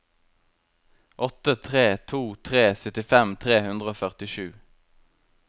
åtte tre to tre syttifem tre hundre og førtisju